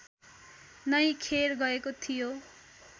नै खेर गएको थियो